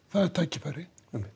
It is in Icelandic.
það er tækifæri